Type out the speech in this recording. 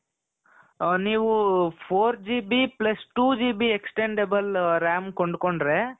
ಅ ನೀವು four GB plus two GBextendable RAM ಕೊಂಡ್ಕೊಂಡ್ರೆ .